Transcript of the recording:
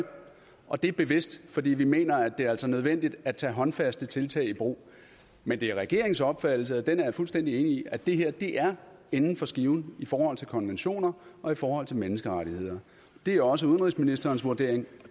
og det er bevidst fordi vi mener at det altså er nødvendigt at tage håndfaste tiltag i brug men det er regeringens opfattelse og den er jeg fuldstændig enig i at det her er inden for skiven i forhold til konventioner og i forhold til menneskerettigheder det er også udenrigsministerens vurdering og